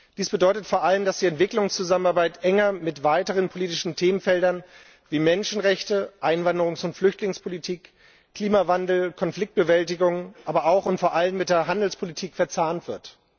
Dies bedeutet vor allem, dass die Entwicklungszusammenarbeit enger mit weiteren politischen Themenfeldern wie Menschenrechte, Einwanderungs und Flüchtlingspolitik, Klimawandel, Konfliktbewältigung, aber auch und vor allem mit der Handelspolitik verzahnt wird.